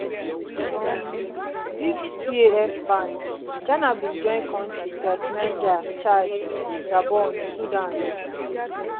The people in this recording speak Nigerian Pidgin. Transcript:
wit um dis caf ban ghana bin join kontris like niger chad gabon sudan